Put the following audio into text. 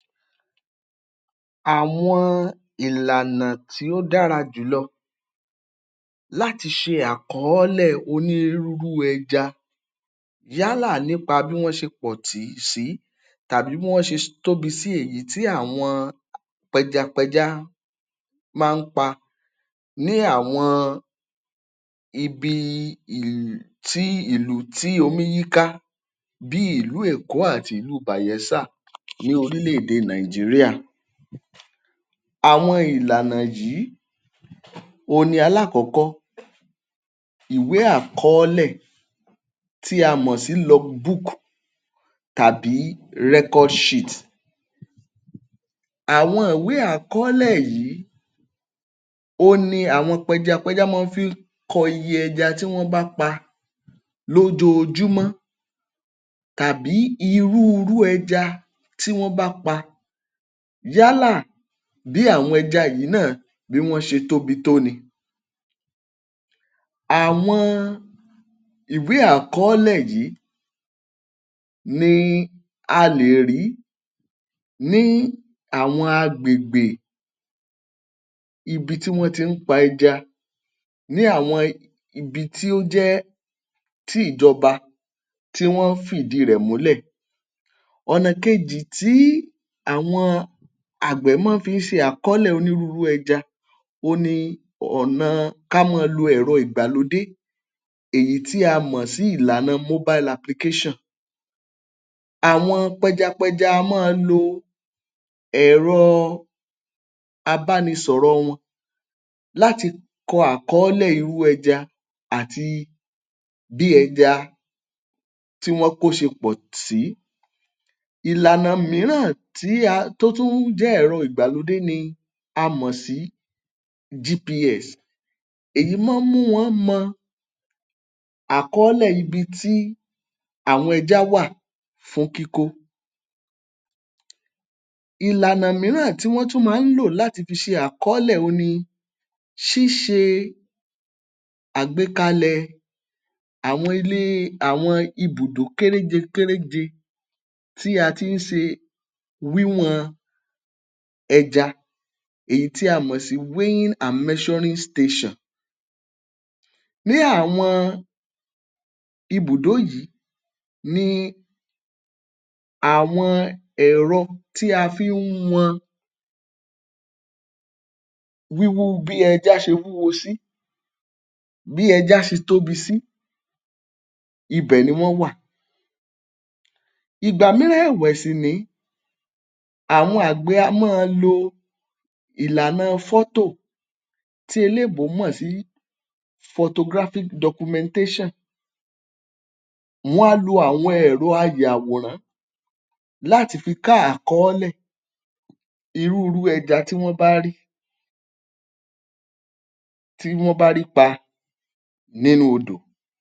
Àwọn ìlànà tí ó dára jùlọ láti ṣe àkọ́ọ́lẹ̀ onírúúrú ẹja yálà nípa bí wọ́n ṣe pọ̀ sí tàbí bí wọ́n ṣe tóbi sí, èyí tí àwọn pẹjapẹja máa ń pa ní àwọn ibi ìlù tì um ìlù tí omí yíká bí ìlú Èkó àti ìlú Bayelsa lórílẹ̀-èdè Nàìjíríà. Àwọn ìlànà yìí, òhun ni alákọ̀ọ́kọ́ ìwé àkọ́ọ́lẹ̀ tí a mọ̀ sí log book tàbí record sheet. Àwọn ìwé àkọ́ọ́lẹ̀ yìí, òhun ni àwọn pẹjàpẹja máa ń fi kọ iye ẹja tí wọ́n bá pa lójoojúmọ́ tàbí irú rú ẹja tí wọ́n bá pa yálà bí àwọn ẹja yìí náà bí wọ́n ṣe tóbi tó ni. Àwọn ìwé àkọ́ọ́lẹ̀ yìí ni a lè rí ní àwọn agbègbè ibi tí wọ́n ti ń pa ẹja ní àwọn ibi tí ó jẹ́ tí ìjọba tí wọ́n fìdí rẹ̀ múlẹ̀. Ọ̀nà kejì tí àwọn àgbẹ̀ máa fi ń ṣe àkọ́ọ́lẹ̀ onírúurú ẹja, òhun ni ọ̀nà kí a máa lo ẹ̀rọ ìgbàlódé, èyí tí a mọ̀ sí ìlànà mobile application. Àwọn pẹjàpẹja a máa lo ẹ̀rọ abánisọ̀rọ̀ wọn láti kọ àkọ́ọ́lẹ̀ irú ẹja àti bí ẹja tí wọ́n kó ṣe pọ̀ sí. Ìlànà mìíràn tí a, tó tún jẹ́ ẹ̀rọ ìgbàlódé ni a mọ̀ sí GPS. Èyí máa ń mú wọn mọ àkọ́ọ́lẹ̀ ibi tí àwọn ẹja wà fún kíkó. Ìlànà mìíràn tí wọ́n tún fi máa ń ṣe àkọ́ọ́lẹ̀ ni ṣíṣe àgbékalẹ̀ àwọn ilé, àwọn ibùdó kéréje kéréje tí a ti ń ṣe wíwọ̀n ẹja, èyí tí a mọ̀ sí weighing and measuring station. Ní àwọn ibùdó yìí ni àwọn ẹ̀rọ tí a fi ń wọn wíwó bí ẹja ṣe wíwó sí, bí ẹja ṣe tóbí sí ibẹ̀ ni wọ́n wà. Ìgbà mìíràn ẹ̀wẹ̀ sì nìí, àwọn àgbẹ̀ a máa lo ìlànà fọ́tò, tí eléèbó mọ̀ sí photographic documentation. Wọ́n á lo àwọn ẹ̀rọ ayàwòrán láti fi ká àkọ́ọ́lẹ̀ irú rú ẹja tí wọ́n bá rí, tí wọ́n bá rí pa nínú odò.